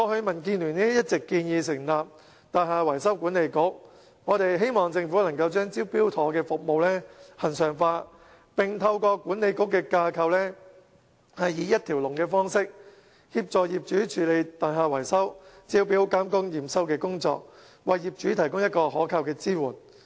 民建聯過去一直建議成立"大廈維修管理局"，我們希望政府能把"招標妥"服務恆常化，並透過管理局的架構以一條龍方式，協助業主處理大廈維修招標和驗收工作，為業主提供可靠的支援。